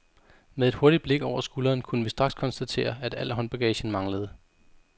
Med et hurtigt blik over skulderen kunne vi straks konstatere, at al håndbaggagen manglede.